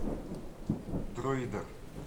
друидер